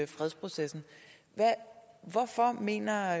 fredsprocessen hvorfor mener